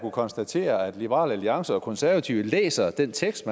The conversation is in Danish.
konstatere at liberal alliance og konservative læser den tekst